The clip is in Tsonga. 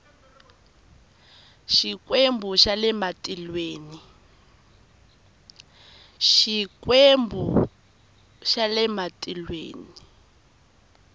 xikwembu xa le matilweni